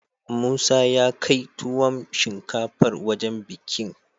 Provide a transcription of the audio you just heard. Musa yakai tuwon shinkafar wajan bikin